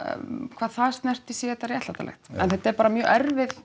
hvað það snerti sé þetta réttlætanlegt en þetta er bara mjög erfið